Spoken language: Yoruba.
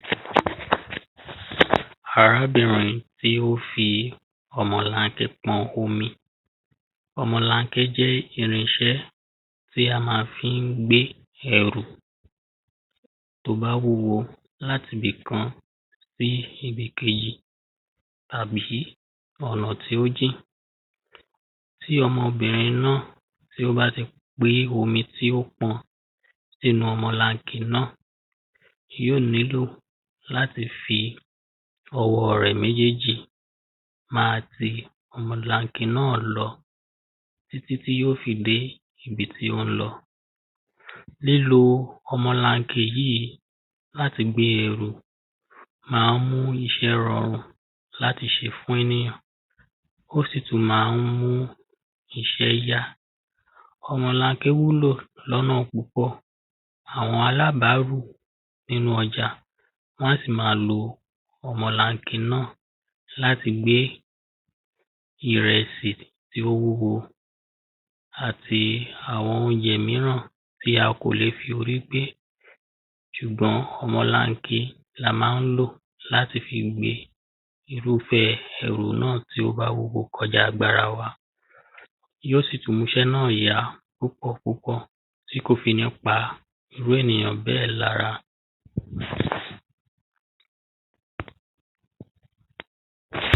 arábìrin tí ó fi ọmọlanke pọn omi ọmọlanke jẹ́ irinṣẹ́ tí a máa fi ń gbé ẹrù tó bá wúwo láti ibì kan sí ibi kejì tàbí ọ̀nà tí ó jìn tí ọmọbìrin náà tí ó bá ti gbé omi tí ó pọn sínú ọmọlanke náà yoó nílò láti fi ọwọ́ rẹ̀ méjèèjì máa tí ọmọlanke náà lọ títí tí ó fi dé ibi tí ó ń lọ lílo ọmọlanke yìí láti fi gbé ẹrù máa ń mú iṣẹ́ ranrù láti ṣe fún ènìyàn ó sì tún máa ń mú iṣẹ́ yá ọmọlanke wúlò lọ́nà púpọ̀, àwọn alábárù nínú ọjà wọ́n á sì máa lo ọmọlanke náà láti gbé ìrẹsì tí ó wúwo àti àwọn oúnjẹ míràn tí a kò le fi orí gbé ṣùgbọ́n ọmọlanke ní a máa ń lò láti fi gbe irúfẹ́ ẹrù náà tí ó bá wúwo kọjá agbára wa yoó sì múṣẹ́ náà yá púpọ̀ púpọ̀ tí kò fi ní pa irú èèyàn bẹ́ẹ̀ lára